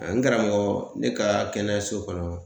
N karamɔgɔ ne ka kɛnɛyaso kɔnɔ